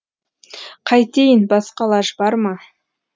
қайтейін басқа лаж бар ма